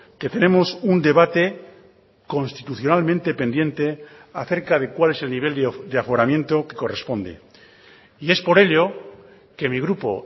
que tenemos un debate constitucionalmente pendiente acerca de cuál es el nivel de aforamiento que corresponde y es por ello que mi grupo